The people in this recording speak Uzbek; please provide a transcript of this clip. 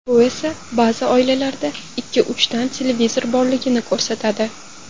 Bu esa ba’zi oilalarda ikki-uchtadan televizor borligini ko‘rsatadi.